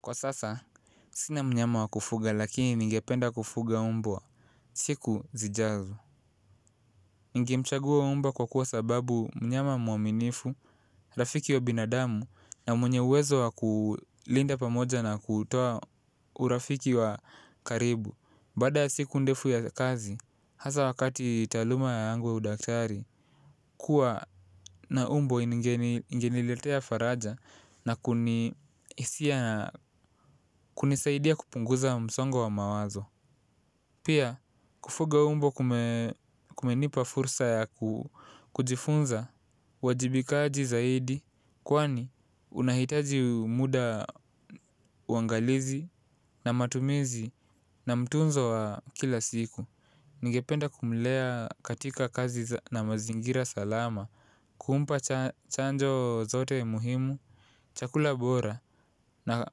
Kwa sasa, sina mnyama wakufuga lakini ningependa kufuga mbwa, siku zijazo. Ningemchagua mbwa kwa kuwa sababu mnyama mwaminifu, rafiki wa binadamu na mwenye uwezo wa kulinda pamoja na kutoa urafiki wa karibu. Baada siku ndefu ya kazi, hasa wakati taluma yangu ya udaktari, kua na mbwa inigeniletea faraja na kunisaidia kupunguza msongo wa mawazo. Pia kufuga mbwa kumenipa fursa ya kujifunza, uwajibikaji zaidi, kwani unahitaji muda uangalizi na matumizi na mtunzo wa kila siku. Ningependa kumlea katika kazi na mazingira salama, kumpa chanjo zote muhimu, chakula bora na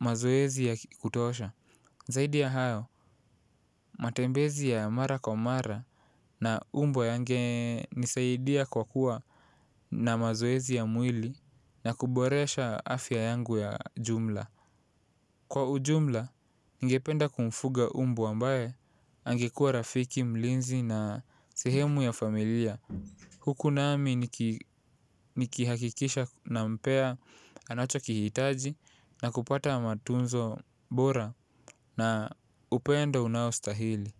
mazoezi ya kutosha. Zaidi ya hayo, matembezi ya mara kwa mara na mbwa yangenisaidia kwa kuwa na mazoezi ya mwili na kuboresha afya yangu ya jumla. Kwa ujumla, ningependa kumfuga mbwa ambaye angekua rafiki, mlinzi na sehemu ya familia huku nami nikihakikisha na mpea anacho kihitaji na kupata mafunzo bora na upenda unao stahili.